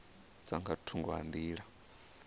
dza nga thungo ha nḓila